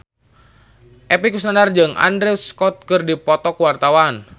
Epy Kusnandar jeung Andrew Scott keur dipoto ku wartawan